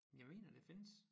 Jeg mener det findes